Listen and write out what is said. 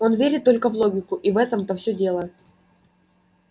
он верит только в логику и в этом-то всё дело